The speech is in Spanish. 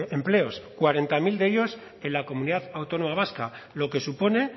empleos cuarenta mil de ellos en la comunidad autónoma vasca lo que supone